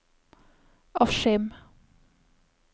Askim